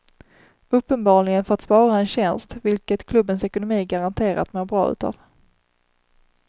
Uppenbarligen för att spara en tjänst, vilket klubbens ekonomi garanterat mår bra utav.